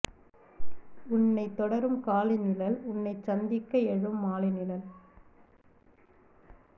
உன்னைத் தொடரும் காலை நிழல் உன்னைச் சந்திக்க எழும் மாலை நிழல்